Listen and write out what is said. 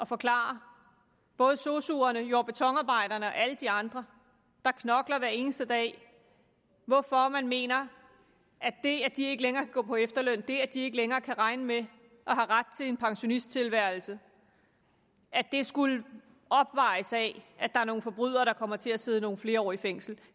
forklare både sosuerne jord og betonarbejderne og alle de andre der knokler hver eneste dag hvorfor man mener at det at de ikke længere kan gå på efterløn det at de ikke længere kan regne med at have ret til en pensionisttilværelse skulle opvejes af at der er nogle forbrydere der kommer til at sidde nogle flere år i fængsel